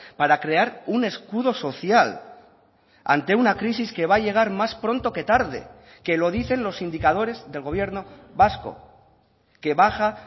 para crear un escudo social ante una crisis que va a llegar más pronto que tarde que lo dicen los indicadores del gobierno vasco que baja